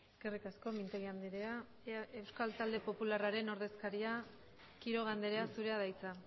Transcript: eskerrik asko mintegi andrea euskal talde popularraren ordezkaria quiroga andrea zurea da hitza